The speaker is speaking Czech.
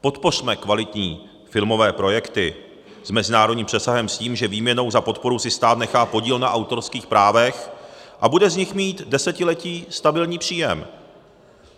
Podpořme kvalitní filmové projekty s mezinárodním přesahem, s tím, že výměnou za podporu si stát nechá podíl na autorských právech a bude z nich mít desetiletí stabilní příjem.